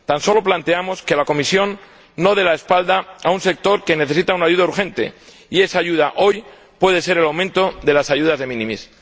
Tan solo planteamos que la Comisión no dé la espalda a un sector que necesita una ayuda urgente, y esa ayuda, hoy, puede ser el aumento de las ayudas de minimis.